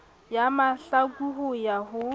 ya mahlaku ho ya ho